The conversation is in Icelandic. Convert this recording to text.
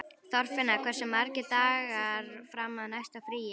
Þorfinna, hversu margir dagar fram að næsta fríi?